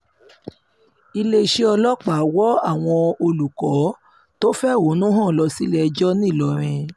iléeṣẹ́ ọlọ́pàá wọ àwọn olùkọ́ tó fẹ̀hónú hàn lọ sílé-ẹjọ́ ńìlọrin